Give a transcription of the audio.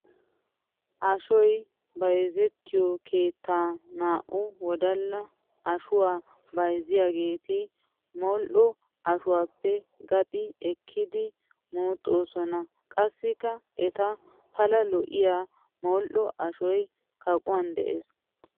Ashoy bayzzettiyo keettan naa'u wodalla ashuwa bayzziyagetti modhdho ashuwappe qanxxi ekkiddi muxxosonna. Qassikka etta pala lo'iya modhdho ashoy kaqquwan de'ees.